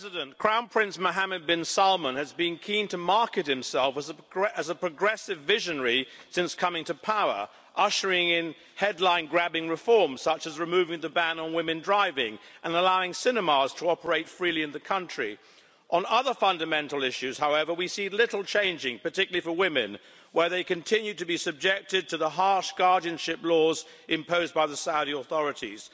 Mr President, Crown Prince Mohammad bin Salman has been keen to market himself as a progressive visionary since coming to power ushering in headline grabbing reforms, such as removing the ban on women driving, and allowing cinemas to operate freely in the country. On other fundamental issues, however, we see little changing, particularly for women as they continue to be subject to the harsh guardianship laws imposed by the Saudi authorities.